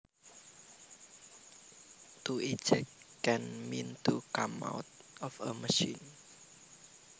To eject can mean to come out of a machine